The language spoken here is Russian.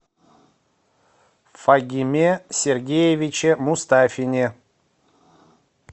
фагиме сергеевиче мустафине